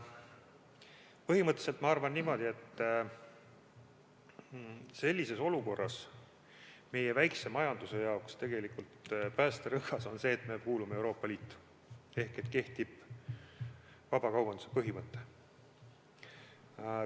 Põhimõtteliselt ma arvan, et sellises olukorras meie väikese majanduse jaoks on päästerõngas see, et me kuulume Euroopa Liitu ehk kehtib vabakaubanduse põhimõte.